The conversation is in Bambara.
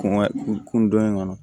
Kɔnkɔ kun dɔn in kɔnɔ